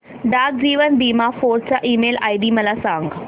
डाक जीवन बीमा फोर्ट चा ईमेल आयडी मला सांग